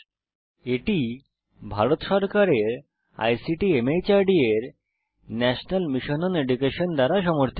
এটি ভারত সরকারের ICT MHRD এর ন্যাশনাল মিশন ওন এডুকেশন দ্বারা সমর্থিত